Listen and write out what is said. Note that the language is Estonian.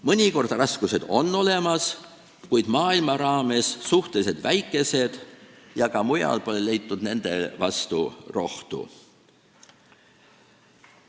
Mõnikord on raskused olemas, kuid on maailma raames suhteliselt väikesed ja ka mujal pole leitud nende vastu rohtu.